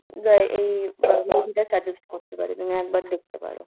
যায় এই movie টা suggest করতে পারি তুমি একবার দেখতে পরো